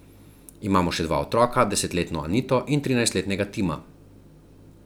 Imamo še dva otroka, desetletno Anito in trinajstletnega Tima.